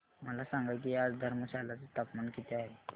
मला सांगा की आज धर्मशाला चे तापमान किती आहे